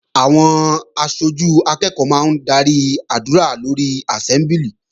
Àwọn aṣojú akẹ́ẹ̀kọ́ máa ń darí àdúrà lórí àsẹ́mbúlì